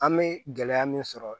An bɛ gɛlɛya min sɔrɔ